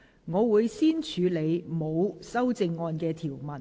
我會先處理沒有修正案的條文。